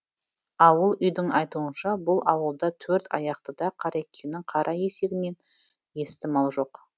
ауыл үйдің айтуынша бұл ауылда төрт аяқтыда қарекеңнің қара есегінен есті мал жоқ